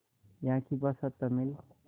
यहाँ की भाषा तमिल